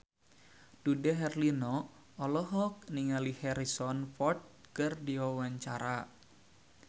Dude Herlino olohok ningali Harrison Ford keur diwawancara